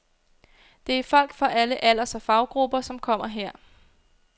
Det er folk fra alle alders- og faggrupper, som kommer her.